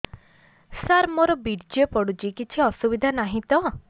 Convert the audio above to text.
ସାର ମୋର ବୀର୍ଯ୍ୟ ପଡୁଛି କିଛି ଅସୁବିଧା ନାହିଁ ତ